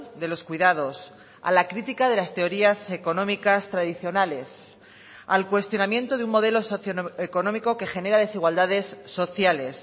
de los cuidados a la crítica de las teorías económicas tradicionales al cuestionamiento de un modelo socioeconómico que genera desigualdades sociales